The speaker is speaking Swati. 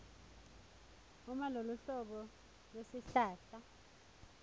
uma loluhlobo lwesihlahla